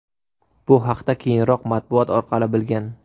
Bu haqda keyinroq matbuot orqali bilgan.